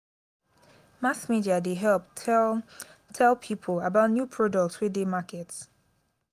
mass media dey help tell tell pipo about new product wey dey market.